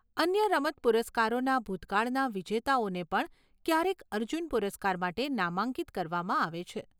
અન્ય રમત પુરસ્કારોના ભૂતકાળના વિજેતાઓને પણ ક્યારેક અર્જુન પુરસ્કાર માટે નામાંકિત કરવામાં આવે છે.